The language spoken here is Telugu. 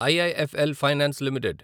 IIFL finance limited